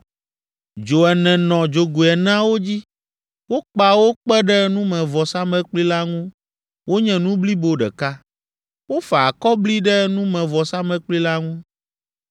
Dzo ene nɔ dzogoe eneawo dzi; wokpa wo kpe ɖe numevɔsamlekpui la ŋu wonye nu blibo ɖeka. Wofa akɔbli ɖe numevɔsamlekpui la ŋu.